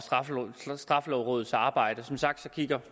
straffelovrådets arbejde som sagt kigger